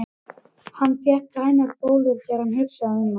Hann fékk grænar bólur þegar hann hugsaði um hann.